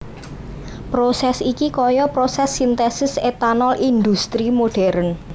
Prosès iki kaya prosès sintesis etanol indhustri modern